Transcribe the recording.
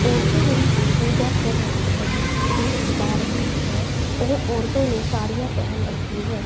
औरतें उनकी पूजा कर रही है। दीप जला रखे हैं और औरतों ने साड़ियां पहन रखी हैं।